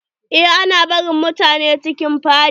Eh ana barin mutane cikin fada.